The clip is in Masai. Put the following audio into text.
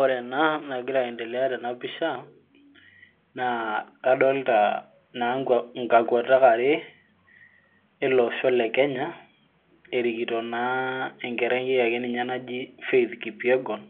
ore ena nagira aendelea tena pisha naa adoolta naa inkakwetak are. olosho le kenya. erikito enkerai naji faith kipyegon,